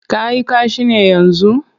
Ka yi kashi ne yanzu?